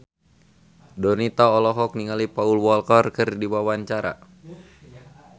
Donita olohok ningali Paul Walker keur diwawancara